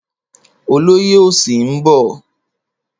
Olóyè òsì ń bọ̀.